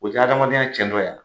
O tɛ adamadenya cɛn tɔ ya?